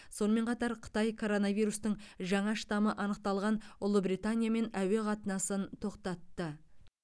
сонымен қатар қытай коронавирустың жаңа штамы анықталған ұлыбританиямен әуе қатынасын тоқтатты